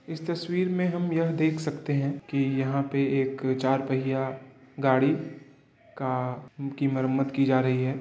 इस तस्वीर में हम यह देख सकते हैं कि यहाँ पे एक चार पहिया गाड़ी का की मरम्मत की जा रही है।